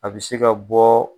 A bi se ka bɔɔ